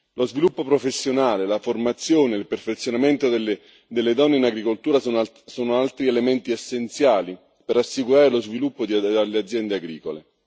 Lo sviluppo professionale, la formazione, il perfezionamento delle donne in agricoltura sono altri elementi essenziali per assicurare lo sviluppo delle aziende agricole.